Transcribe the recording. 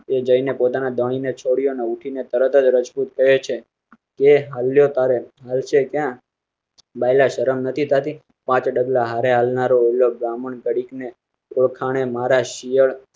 By જઈ ને પોતાના ધણી ને છોડ્યો. ઉઠી ને તરત રજપૂત કહે છે. બાયલા શરમ નથી થાતી. પાંચ ડગલાં હારે હાલ ના રો ને ઓળખાણ એ મહારાષ્ટ્રીયન